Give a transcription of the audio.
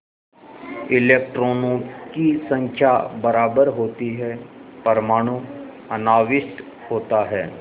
इलेक्ट्रॉनों की संख्या बराबर होती है परमाणु अनाविष्ट होता है